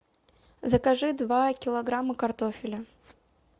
закажи два килограмма картофеля